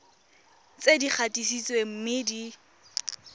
tse di gatisitsweng mme di